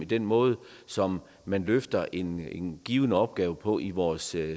den måde som man løfter en en given opgave på i vores